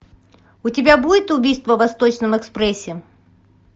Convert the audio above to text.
у тебя будет убийство в восточном экспрессе